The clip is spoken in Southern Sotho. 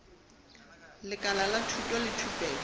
lekala la thuto le thupelo